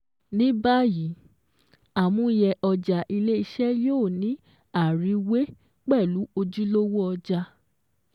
Ní bàyìí, àmúyẹ ọjà ilé-iṣẹ́ yóò ní àriwé pẹ̀lú ojúlówó ọjà